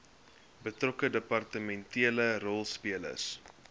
betrokke departementele rolspelers